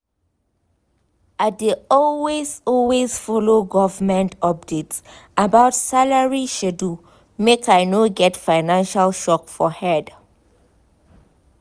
i dey always always follow government updates about salary schedule make i no get financial shock for head.